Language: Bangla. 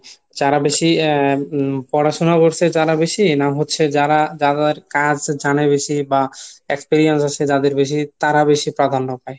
যারা বেশি আহ পড়াশুনা করসে যারা বেশি না হচ্ছে যারা যাদের কাজ জানে বেশি বা experience আছে যাদের বেশি তারা বেশি প্রাধান্য পায়?